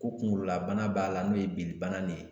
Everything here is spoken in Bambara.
Ko kunkololabana b'a la n'o ye bilibana de ye